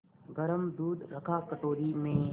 गरम दूध रखा कटोरी में